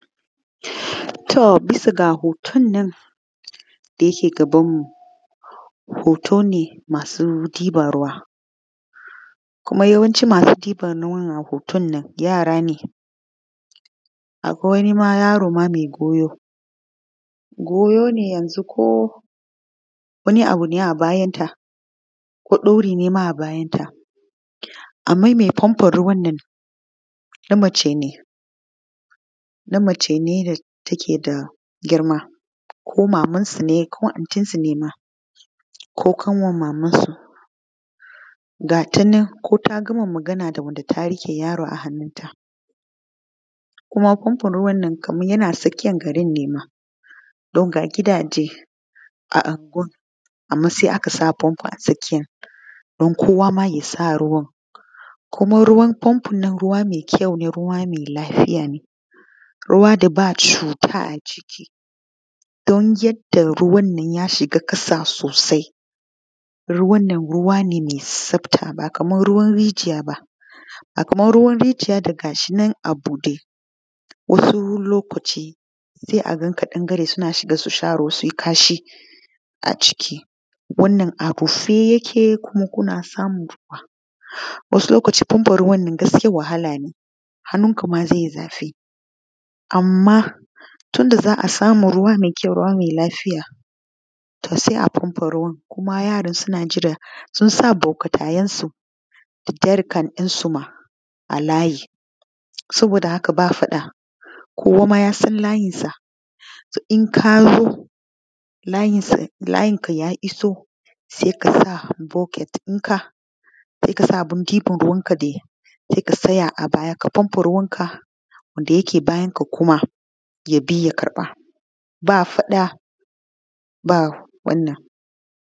To bisa ga hotonnan da yake gabanmu hoto ne masu ɗiban ruwa kuma yawanci masu ɗiban ruwa a hoton nan yara ne, akwai wani ma yaro ma mai goyo goyo ne yanzu ko wani abu ne a bayanta ko ɗauri ne ma a bayanta anman me fanfon ruwan nan na mace ne da take da girma ko maman su ne ko antinsu ne ma ko ƙanwan mamansu ko ta gama magana da wanda ta riƙe yaron. A hannunta kuma fanfon ruwan nan yana tsakiyan garin ne ma don ga gidaje a anguwan, anma saii akasa fanfon a tsakiya dun kowama ya samu kuma ruwan fanfonnan ruwa me kyaune ruwa mai lafiya ne ruwa daba cuta a ciki dun yanda ruwannan yashiga ƙasa sosai ruwannan ruwane me tsafata ba kaman ruwan rijiyaba a kwai ruwan rijiya dagashinan a buɗe wani lokaci se aga ƙadangare ga shinan suna shiga suyi kasha a ciki kuma wannan abu a ciki kuke samun ruwa wani lokaci fanfom ruwannan gaskiya wahala ne hannunka ma zaiyi zafi anma tunda zaasamu ruwa me kyau ruwa mai lafiya to se afanfa ruwan kuma yaran suna jira susa butikayensu da jarkan ɗinsuma alayi saboda haka bafaɗa kowama yasan layinsa inkazo layinka ya iso sekasa buket ɗinka sekasa abin ɗibanruwanka dai se katsaya a baya ka fanfa ruwanka wanda yake bayanka kuma yabi ya ƙarɓa ba faɗa ba wannan.